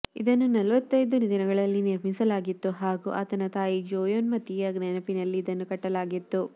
ಇದನ್ನು ನಲವತ್ತೈದು ನಿನಗಳಲ್ಲಿ ನಿರ್ಮಿಸಲಾಗಿತ್ತು ಹಾಗೂ ಆತನ ತಾಯಿ ಜೋಯ್ಮೋತಿ ಯ ನೆನಪಿನಲ್ಲಿ ಇದನ್ನು ಕಟ್ಟಲಾಗಿತ್ತು